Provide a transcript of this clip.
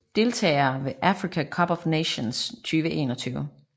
Deltagere ved Africa Cup of Nations 2021